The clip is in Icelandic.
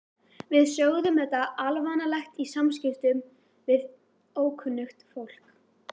Við sögðum þetta alvanalegt í samskiptum við ókunnugt fólk.